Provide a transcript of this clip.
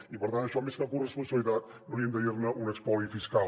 i per tant això més que corresponsabilitat n’hauríem de dir un espoli fiscal